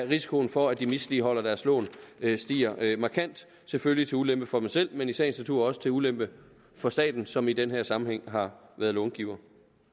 risikoen for at de misligholder deres lån stiger markant selvfølgelig til ulempe for dem selv men i sagens natur også til ulempe for staten som i den her sammenhæng har været långiver